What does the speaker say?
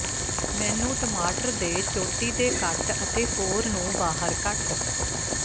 ਮੈਨੂੰ ਟਮਾਟਰ ਦੇ ਚੋਟੀ ਦੇ ਕੱਟ ਅਤੇ ਕੋਰ ਨੂੰ ਬਾਹਰ ਕੱਟ